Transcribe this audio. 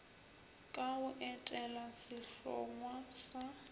ka go etela sehlongwa sa